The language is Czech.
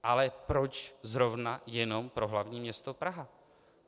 Ale proč zrovna jenom pro hlavní město Prahu?